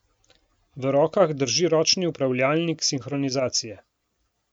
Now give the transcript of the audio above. V rokah drži ročni upravljalnik sinhronizacije.